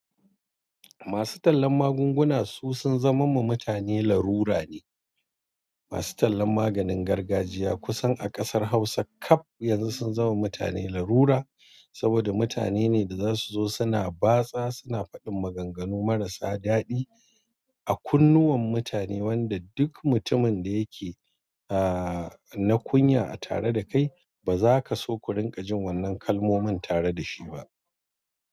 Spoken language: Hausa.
Masu tallan magunguna su sun zama ma mutane larura ne. Masu tallan maganin gargajiya kusan a ƙasar Hausa kaf yanzu sun zamam ma mutane larura, saboda mutane ne da za su zo suna batsa, suna faɗin maganganu marasa daɗi a kunnuwan mutane, wanda duk mutumin da yake na kunya a tare da kai ba za ka so ku rinƙa jin wannan kalmomin tare da shi ba.